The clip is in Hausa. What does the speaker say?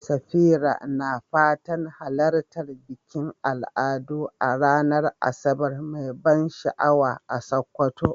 Safira na fatan halartar bikin al'adu a ranar Asabar mai ban sha'awa a Sokoto.